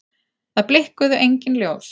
Það blikkuðu engin ljós.